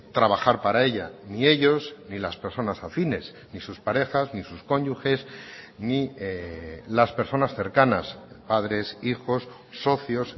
trabajar para ella ni ellos ni las personas afines ni sus parejas ni sus cónyuges ni las personas cercanas padres hijos socios